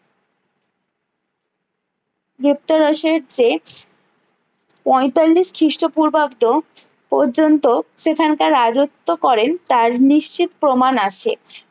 গ্রেপতার ওসেস যে পঁয়তাল্লিশ খ্রিষ্ট পূর্বাব্দ পর্যন্ত সেখানকার রাজ্যত্ব করেন তার নিশ্চিত প্রমাণ আছে